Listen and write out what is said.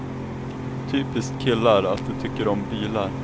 Typiskt killar är att de tycker om bilar.